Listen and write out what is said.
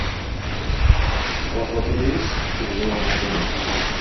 у вас в отеле есть переговорная комната